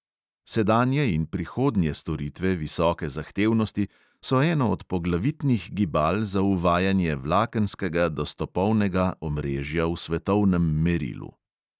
Sedanje in prihodnje storitve visoke zahtevnosti so eno od poglavitnih gibal za uvajanje vlakenskega dostopovnega omrežja v svetovnem merilu.